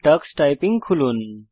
tax typing খুলুন